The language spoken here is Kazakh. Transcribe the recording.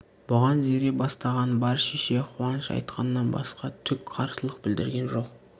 бұған зере бастаған бар шеше қуаныш айтқаннан басқа түк қарсылық білдірген жоқ